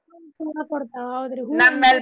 ಹೂವಾ ಕೊಡ್ತಾವ್ ಹೌದ್ರಿ.